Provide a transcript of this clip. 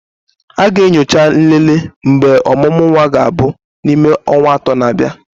A ga-enyocha nlele mgbe ọmụmụ nwa ga-abụ n'ime ọnwa atọ na-abịa.